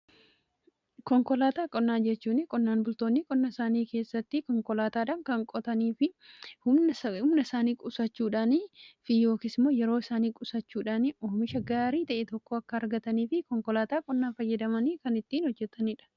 Konkolaataa qonnaa jechuun qonnaan bultoonni qonna isaanii keessatti konkolaataadhan kan qotani. Humna isaanii qusachuudhaanii fi yookiin immoo yeroo isaanii qusachuudhaanii oomisha gaarii ta'ee tokko akka argatanii fi konkolaataa qonnaa fayyadamanii kan ittiin hojjetaniidha.